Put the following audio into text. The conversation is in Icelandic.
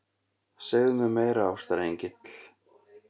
Segðu mér meira, ástarengill.